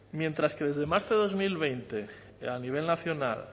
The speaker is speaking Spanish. mientras que desde marzo de dos mil veinte a nivel nacional